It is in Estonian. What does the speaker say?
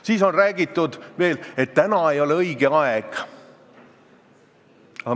Siis on väidetud veel, et praegu ei ole õige aeg.